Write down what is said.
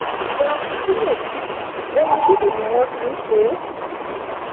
frapuccinno yìí omi dídì ni wọ́n fi n ṣe é